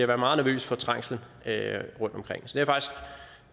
være meget nervøs for trængslen rundtomkring så jeg